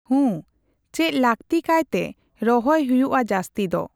ᱦᱩᱸ ᱪᱮᱫ ᱞᱟᱠᱛᱤ ᱠᱟᱭᱛᱮ ᱨᱚᱦᱚᱭ ᱦᱩᱭᱩᱜᱼᱟ ᱡᱟᱥᱛᱤ ᱫᱚ?